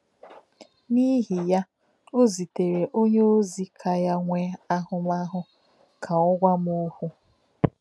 N’ihi ya, ò zitèrè onyeózi ka ya nwee ahụmahụ ka ọ gwá m òkwú.